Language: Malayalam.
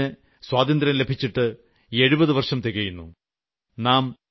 ആഗസ്റ്റ് 15 ന് സ്വാതന്ത്യം ലഭിച്ചിട്ട് 70 വർഷം തികയുന്നു